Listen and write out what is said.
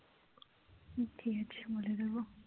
ঠিক আছে বলে দেব